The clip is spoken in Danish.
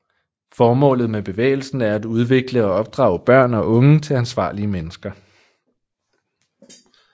Formålet med bevægelsen er at udvikle og opdrage børn og unge til ansvarlige mennesker